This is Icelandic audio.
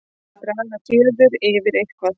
Að draga fjöður yfir eitthvað